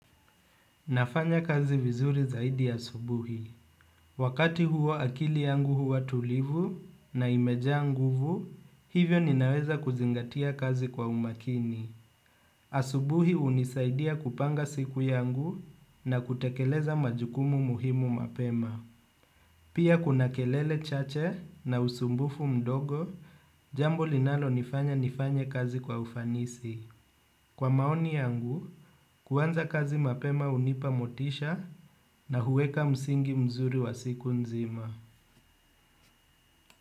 Nafanya kazi vizuri zaidi asubuhi. Wakati huo akili yangu huwa tulivu na imejaa nguvu, hivyo ninaweza kuzingatia kazi kwa umakini. Asubuhi unisaidia kupanga siku yangu na kutekeleza majukumu muhimu mapema. Pia kuna kelele chache na usumbufu mdogo, jambo linalonifanya nifanye kazi kwa ufanisi. Kwa maoni yangu, kuanza kazi mapema hunipa motisha na huweka msingi mzuri wa siku nzima.